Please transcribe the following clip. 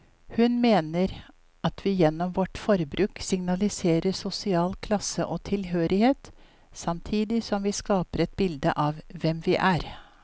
Hun mener at vi gjennom vårt forbruk signaliserer sosial klasse og tilhørighet, samtidig som vi skaper et bilde av hvem vi er.